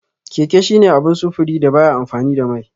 Keke shine abun sufuri da baya amfani da mai.